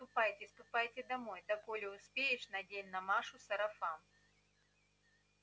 ступайте ступайте домой да коли успеешь надень на машу сарафан